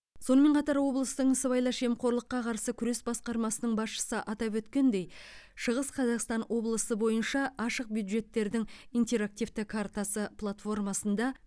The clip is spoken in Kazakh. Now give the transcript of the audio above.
сонымен қатар облыстың сыбайлас жемқорлыққа қарсы күрес басқармасының басшысы атап өткендей шығыс қазақстан облысы бойынша ашық бюджеттердің интерактивті картасы платформасында